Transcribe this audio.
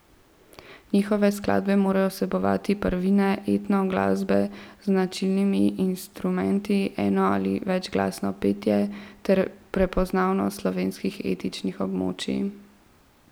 Njihove skladbe morajo vsebovati prvine etno glasbe z značilnimi instrumenti, eno ali večglasno petje ter prepoznavnost slovenskih etničnih območij.